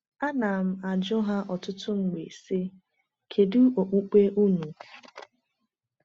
Ana m-ajụ ha ọtụtụ mgbe, sị: “Kedu okpukpe unu?”